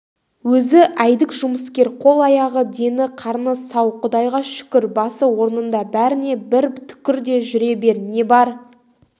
өзі әйдік жұмыскер қол-аяғы дені-қарны сау құдайға шүкір басы орнында бәріне бір түкір де жүре бер не бар